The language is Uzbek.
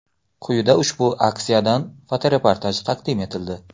Quyida ushbu aksiyadan fotoreportaj taqdim etildi.